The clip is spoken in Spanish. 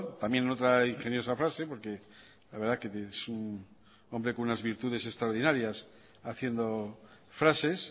también en otra ingeniosa frase porque la verdad que es un hombre con unas virtudes extraordinarias haciendo frases